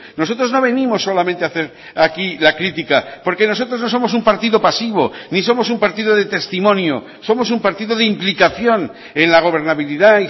nosotros no venimos solamente a hacer aquí la crítica porque nosotros no somos un partido pasivo ni somos un partido de testimonio somos un partido de implicación en la gobernabilidad